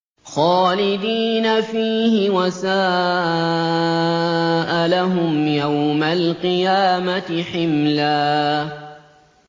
خَالِدِينَ فِيهِ ۖ وَسَاءَ لَهُمْ يَوْمَ الْقِيَامَةِ حِمْلًا